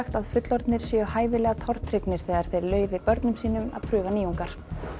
að fullorðnir séu hæfilega tortryggnir þegar þau leyfi börnum að prófa nýjungar